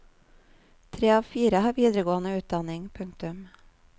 Tre av fire har videregående utdanning. punktum